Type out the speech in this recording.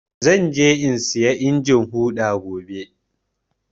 Zan je in saya injin huɗa gobe.